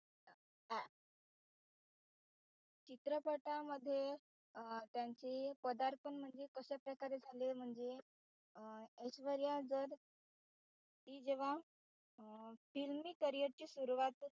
चित्रपटामध्ये त्याचे पदार्पण म्हणजे कशाप्रकारे झाले म्हणजे अं ऐश्वर्या जर ती जेव्हा